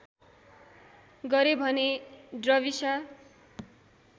गरे भने ड्रविसा